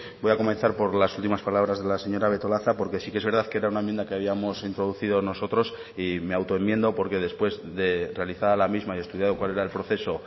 voy a comenzar por las últimas palabras de la señora betolaza porque sí que es verdad que era una enmienda que habíamos introducido nosotros y me auto enmiendo porque después de realizada la misma y estudiado cual era el proceso